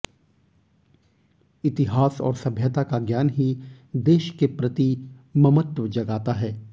इतिहास और सभ्यता का ज्ञान ही देश के प्रति ममत्व जगाता है